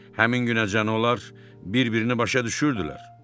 Həmin günəcən onlar bir-birini başa düşürdülər.